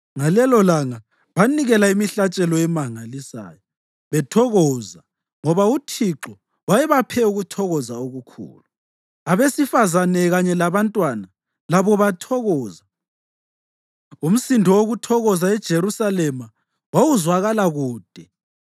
Ngalelolanga banikela imihlatshelo emangalisayo, bethokoza ngoba uThixo wayebaphe ukuthokoza okukhulu. Abesifazane kanye labantwana labo bathokoza. Umsindo wokuthokoza eJerusalema wawuzwakala kude.